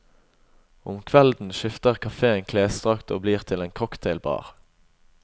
Om kvelden skifter kafeen klesdrakt og blir til en cocktailbar.